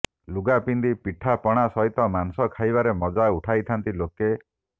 ଲୁଗା ପିନ୍ଧି ପିଠା ପଣା ସହିତ ମାଂସ ଖାଇବାରେ ମଜା ଉଠାଇଥାନ୍ତି ଲୋକେ